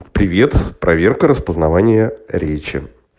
привет проверка распознавания речи